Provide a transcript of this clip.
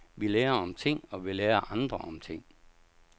Vi lærer om ting, og vi lærer andre om ting.